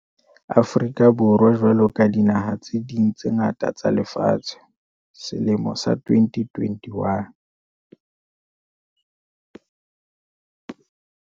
Afrika Borwa jwalo ka dinaha tse ding tse ngata tsa lefatshe, selemo sa 2021